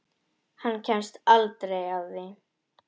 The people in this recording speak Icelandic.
Hann kemst aldrei að því.